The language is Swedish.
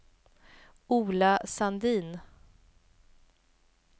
Ola Sandin